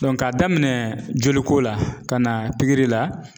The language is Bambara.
k'a daminɛ joliko la ka na pikiri la.